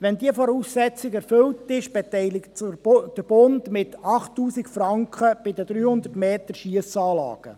Wenn diese Voraussetzungen erfüllt sind, beteiligt sich der Bund mit 8000 Franken bei den 300 MeterSchiessanlagen.